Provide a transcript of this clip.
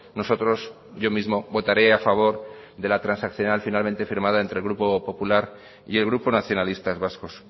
nosotros yo mismo votaré a favor de la transaccional finalmente firmada entre el grupo popular y el grupo nacionalistas vascos